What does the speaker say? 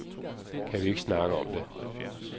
Kan vi ikke snakke om det?